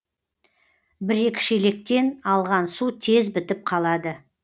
бір екі шелектен алған су тез бітіп қалады